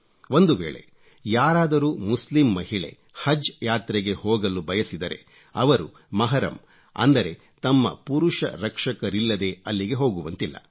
ಒಂದುವೇಳೆ ಯಾರಾದರೂ ಮುಸ್ಲಿಂ ಮಹಿಳೆ ಹಜ್ ಯಾತ್ರೆಗೆ ಹೋಗಲು ಬಯಸಿದರೆ ಅವರು ಮಹರಮ್ ಅಂದರೆ ತಮ್ಮ ಪುರುಷ ರಕ್ಷಕರಿಲ್ಲದೆ ಅಲ್ಲಿಗೆ ಹೋಗುವಂತಿಲ್ಲ